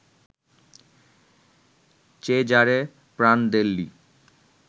Cesare Prandelli